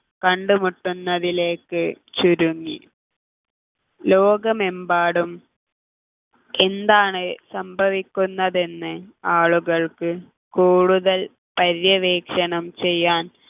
കണ്ടുമുട്ടുന്നതിലേക്ക് ചുരുങ്ങി ലോകമെമ്പാടും എന്താണ് സംഭവിക്കുന്നത് എന്ന് ആളുകൾക്ക് കൂടുതൽ പര്യവേഷണം ചെയ്യാൻ